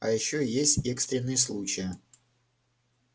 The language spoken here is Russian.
а ещё есть экстренные случаи